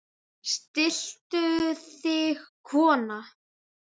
Stilltu þig kona!